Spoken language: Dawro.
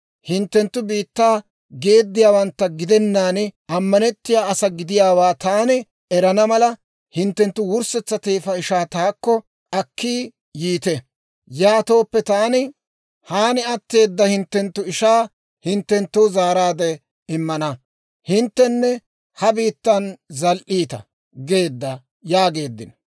Hinttenttu biittaa geediyaawantta gidenaan, ammanettiyaa asaa gidiyaawaa taani erana mala, hinttenttu wurssetsa teefa ishaa taakko akki yiite. Yaatooppe taani haan atteeda hinttenttu ishaa hinttenttoo zaaraadde immana; hinttenne ha biittan zal"iita› geedda» yaageeddino.